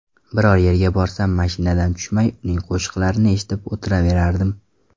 Biror yerga borsam, mashinadan tushmay, uning qo‘shiqlarini eshitib o‘tiraverardim.